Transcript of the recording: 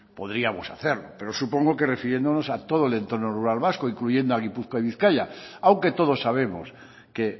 podríamos hacerlo pero supongo que refiriéndonos a todo el entorno rural vasco incluyendo a gipuzkoa y bizkaia aunque todos sabemos que